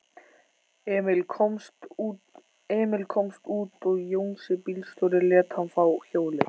Emil komst út og Jónsi bílstjóri lét hann fá hjólið.